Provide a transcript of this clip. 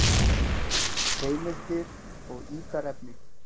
Heimildir og ítarefni: